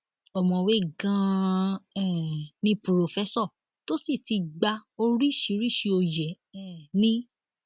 ọmọwé ganan um ni purọfẹsọ tó sì ti gba oríṣiríṣii òye um ni